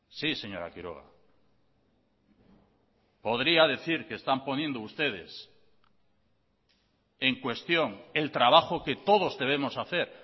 sí señora quiroga podría decir que están poniendo ustedes en cuestión el trabajo que todos debemos hacer